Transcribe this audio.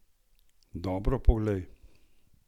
Dobro poglej!